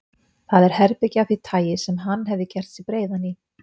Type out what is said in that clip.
Það er herbergi af því tagi sem hann hefði gert sig breiðan í.